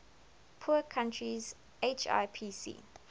poor countries hipc